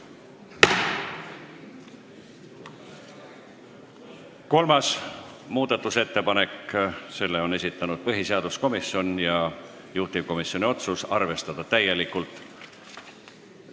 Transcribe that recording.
Kolmanda muudatusettepaneku on esitanud põhiseaduskomisjon ja juhtivkomisjoni otsus on arvestada täielikult.